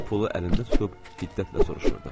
Pulu əlində tutub hiddətlə soruşurdu.